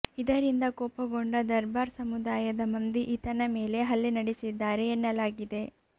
ಇದರಿಂದ ಕೋಪಗೊಂಡ ದರ್ಬಾರ್ ಸಮುದಾಯದ ಮಂದಿ ಈತನ ಮೇಲೆ ಹಲ್ಲೆ ನಡೆಸಿದ್ದಾರೆ ಎನ್ನಲಾಗಿದೆ